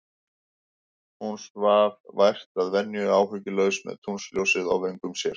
Hún svaf vært að venju, áhyggjulaus, með tunglsljósið á vöngum sér.